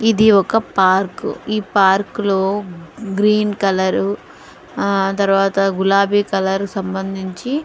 ఇది ఒక పార్క్ .ఈ పార్కులో గ్రీన్ కలర్ ఆ తర్వాత గులాబీ కలరు సంబంధించి--